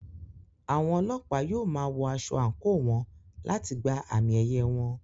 Àwọn Ọlọ́pàá yóò máa wọ aṣọ àǹkóò wọn láti gba àmì-ẹ̀yẹ wọn.